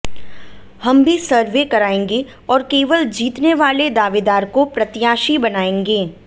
हम भी सर्वे कराएंगे और केवल जीतने वाले दावेदार को प्रत्याशी बनाएंगे